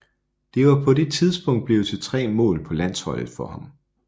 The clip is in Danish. Det var på det tidspunkt blevet til tre mål på landsholdet for ham